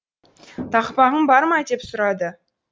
тақпағың бар ма деп сұрады